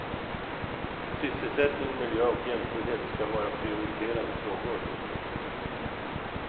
Sysselsättning, miljö och jämställdhet ska vara prioriterade frågor.